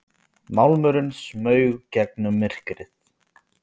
Málmurinn smaug gegnum myrkrið.